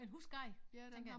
En husskade tænker jeg